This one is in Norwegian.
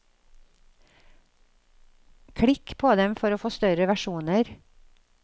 Klikk på dem for å få større versjoner.